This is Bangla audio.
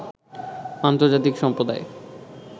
আন্তর্জাতিক সম্প্রদায়